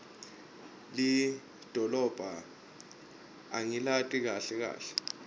lidolobha angilati kahle kahle